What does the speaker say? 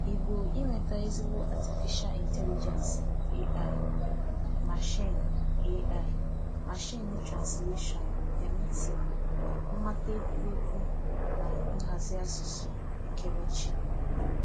Igbo inweta ezigbo Atịfisha Ịntelịgensị (AI), mashiin (AI), mashiin transleshọn (MT), mmata ekwurekwu na nhazi asụsụ ekerechi